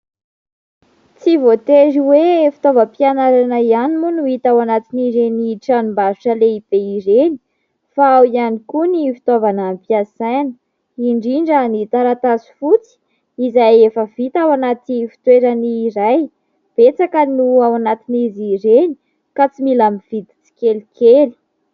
Tsy voatery hoe fitaovam-pianarana ihany moa no hita ao anatin'ireny tranombarotra lehibe ireny, fa ao ihany koa ny fitaovana ampiasaina, indrindra ny taratasy fotsy izay efa vita ao anaty fitoerany iray. Betsaka no ao anatin'izy ireny ka tsy mila mividy tsikelikely.